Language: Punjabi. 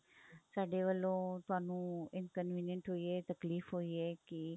ਸਾਡੇ ਵੱਲੋਂ ਤੁਹਾਨੂੰ inconvenient ਹੋਈ ਏ ਤਕਲੀਫ਼ ਹੋਈ ਏ ਕੀ